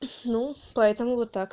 ну поэтому вот так